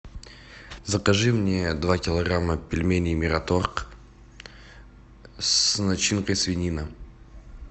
закажи мне два килограмма пельменей мираторг с начинкой свинина